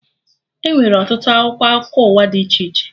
Enwere ọtụtụ akwụkwọ akụkọ ụwa dị iche iche